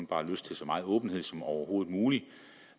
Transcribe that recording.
bare lyst til så meget åbenhed som overhovedet muligt